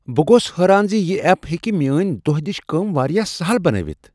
بہٕ گوس حٲران زِ یہِ ایپ ہیکہ میٲنۍ دۄہ دش کٲم واریاہ سہل بنٲوتھ۔